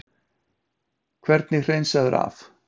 Hvernig hreinsaður af?